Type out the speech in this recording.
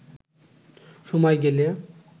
সময় গেলে